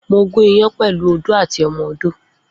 Mo gún ìyán pẹlu òdó àtí ọmọ òdó.